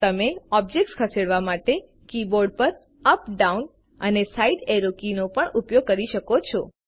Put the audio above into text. તમે ઓબ્જેક્ટ ખસેડવા માટે કીબોર્ડ પર અપ ડાઉન અને સાઈડ એરો કી નો પણ ઉપયોગ કરી શકો છો